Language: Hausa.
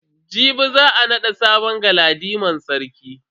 Jibi za a nada sabon galadiman sarki.